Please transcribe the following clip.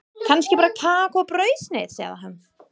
Kannski bara kakó og brauðsneið, sagði hún.